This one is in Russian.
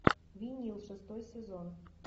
винил шестой сезон